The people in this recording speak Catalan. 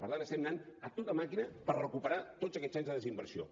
per tant estem anant a tota màquina per recuperar tots aquests anys de desinversió